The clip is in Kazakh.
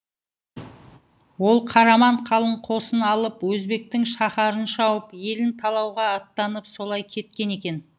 ол қараман қалың қосын алып өзбектің шаһарын шауып елін талауға аттанып солай кеткен екен